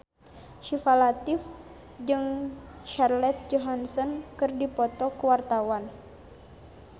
Syifa Latief jeung Scarlett Johansson keur dipoto ku wartawan